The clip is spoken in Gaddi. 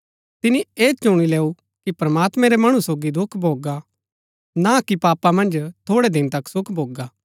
तिनी ऐह चुणी लैऊ कि प्रमात्मैं रै मणु सोगी दुख भोगा ना कि पापा मन्ज थोड़ै दिन तक सुख भोगा